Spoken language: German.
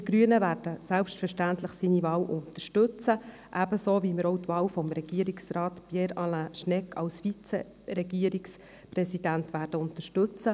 Wir Grüne werden seine Wahl selbstverständlich unterstützen, so wie wir auch die Wahl von Regierungsrat Pierre Alain Schnegg als Vize-Regierungspräsident unterstützen.